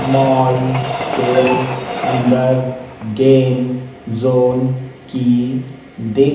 mall के अंदर game zone की दि--